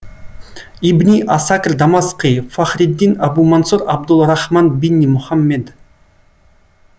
ибни асакр дамасқи фахриддин абумансур абдулрахман бинни мұхаммед